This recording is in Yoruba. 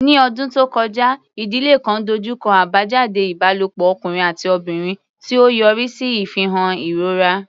Ní ọdún tó kọjá, ìdílé kan dojú kọ àbájáde ìbálòpọ̀ ọkùnrin àti obìnrin, tí ó yọrí sí ìfihàn ìrora.